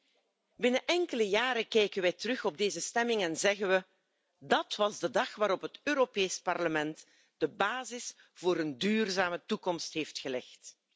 Over enkele jaren kijken wij terug op deze stemming en zeggen we dat was de dag waarop het Europees Parlement de basis voor een duurzame toekomst heeft gelegd.